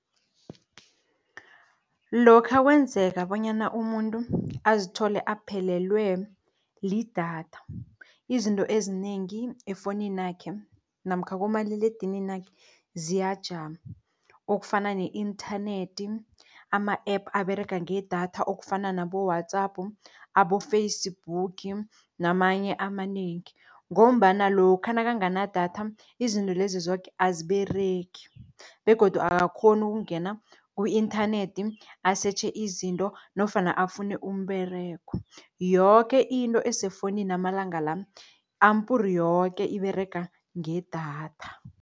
Lokha kwenzeka bonyana umuntu azithole aphelelwe lidatha, izinto ezinengi efowunini yakhe namkha kumaliledinini wakhe ziyajama, okufana ne-inthanethi, ama-app aberega ngedatha okufana nabo-WhatsApp, abo-Facebook namanye amanengi. Ngombana lokha nakanganadatha izinto lezi zoke aziberegi begodu akakghoni ukungena ku-inthanethi, asetjhe izinto nofana afune umberego. Yoke into esefowunini amalanga la ampur yoke iberega ngedatha.